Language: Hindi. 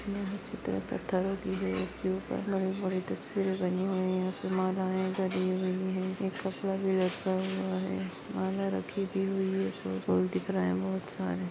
यह चित्र पत्थरोंकी के दिवार के ऊपर बड़े-बड़े तस्वीरे बनी हुई है मालाये चड़ी हुई है एक कपड़ा भी लटका हुआ है माला भी रखी हुई है और बहुत दिख रहा है बहुत सारे --